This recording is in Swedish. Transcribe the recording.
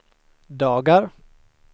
dagar